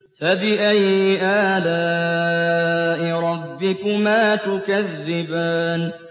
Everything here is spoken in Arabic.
فَبِأَيِّ آلَاءِ رَبِّكُمَا تُكَذِّبَانِ